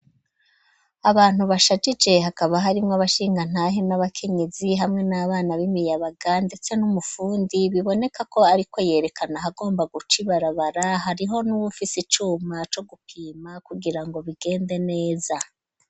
Abantu bashajije hakaba harimwo abashingantahe n'abakenyizi hamwe n'abana b'imiyabaga ndetse n'umufundi biboneka ko ariko yerekana ahagomba guca ibarabara hariho n'uwufise icuma co gupima kugira ngo bigende neza